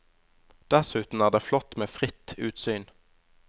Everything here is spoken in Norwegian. Dessuten er det flott med fritt utsyn.